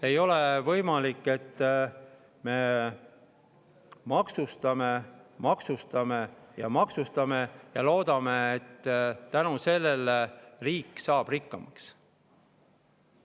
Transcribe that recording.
Ei ole võimalik, et me maksustame, maksustame ja maksustame ning loodame, et tänu sellele saab riik rikkamaks.